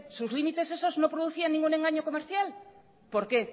sus límites esos no producía ningún engaño comercial por qué